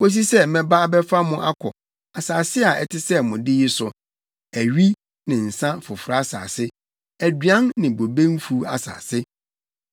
kosi sɛ mɛba abɛfa mo akɔ asase a ɛte sɛ mo de yi so, awi ne nsa foforo asase, aduan ne bobe mfuw asase.